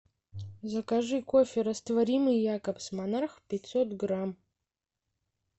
закажи кофе растворимый якобс монарх пятьсот грамм